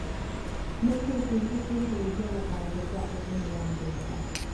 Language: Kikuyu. Nĩkĩ kĩngĩcũngĩrĩria gũkanjwo kwa ũtũmi wa mbeca?